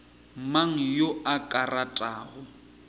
mang yo a ka ratago